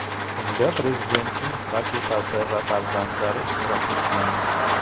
Unda prezidentning rafiqasi va farzandlari ishtirok etgan.